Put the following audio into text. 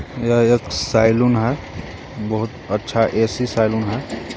यह एक सायलून हे बहोत अच्छा ऐ_सी सायलून हे.